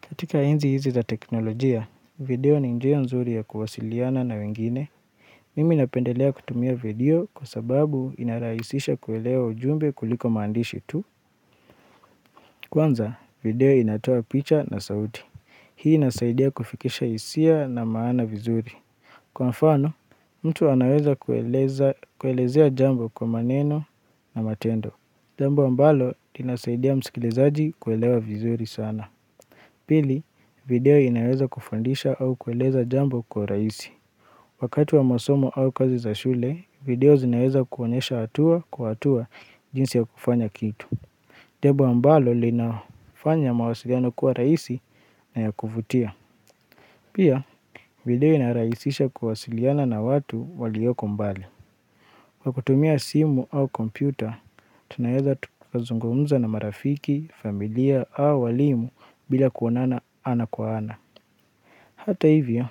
Katika enzi hizi za teknolojia, video ni njia nzuri ya kuwasiliana na wengine. Mimi napendelea kutumia video kwa sababu inarahisisha kuelewa ujumbe kuliko maandishi tu. Kwanza, video inatoa picha na sauti. Hii inasaidia kufikisha hisia na maana vizuri. Kwa mfano, mtu anaweza kuelezea jambo kwa maneno na matendo. Jambo ambalo, linasaidia msikilizaji kuelewa vizuri sana. Pili, video inaweza kufundisha au kueleza jambo kwa urahisi. Wakati wa masomo au kazi za shule, video zinaweza kuonyesha hatua kwa hatua jinsi ya kufanya kitu. Tebo ambalo linafanya mawasiliano kuwa rahisi na ya kuvutia. Pia, video inarahisisha kuwa wasiliana na watu walioko mbali. Kwa kutumia simu au kompyuta, tunaweza tukazungumza na marafiki, familia au walimu bila kuonana ana kwa ana. Hata hivyo,